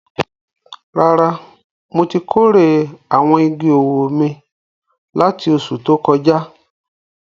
Rárá, mo ti kórè àwọn igi owó mi láti oṣù tó kọjá.